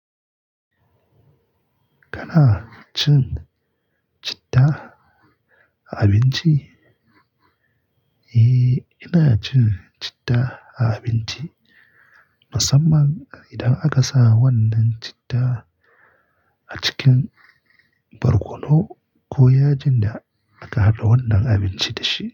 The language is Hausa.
Kana cin citta a abinci? Eh, ina cin citta a abinci, musamman idan aka sa wannan citta a cikin barkono ko yajin da aka haɗa wannan abinci da shi.